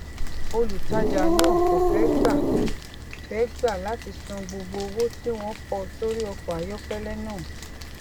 olùtajà náà kò fé gbà fé gbà láti san gbogbo owó tí wón kọ sórí ọkò ayókélé náà